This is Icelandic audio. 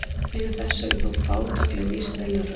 Fyrir þessu eru þó fátækleg vísindaleg rök.